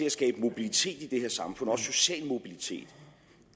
at skabe mobilitet i det her samfund også social mobilitet